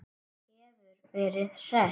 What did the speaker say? Hún hefur verið hress?